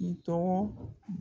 I tɔgɔ